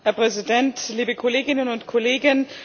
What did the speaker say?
Herr Präsident, liebe Kolleginnen und Kollegen!